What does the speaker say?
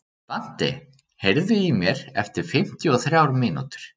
Dante, heyrðu í mér eftir fimmtíu og þrjár mínútur.